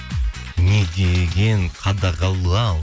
не деген қадағалау